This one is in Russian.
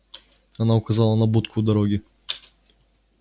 она указала на будку у дороги